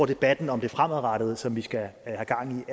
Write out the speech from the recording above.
debatten om det fremadrettede som vi skal have gang